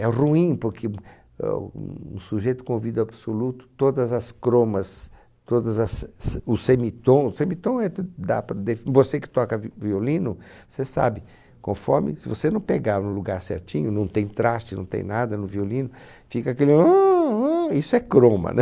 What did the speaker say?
É ruim, porque ahn um sujeito com ouvido absoluto, todas as cromas, todas as se os semitons, semitom é t, dá para def, você que toca vi violino, você sabe, conforme, se você não pegar no lugar certinho, não tem traste, não tem nada no violino, fica aquele aaahm aaahm... Isso é croma, né?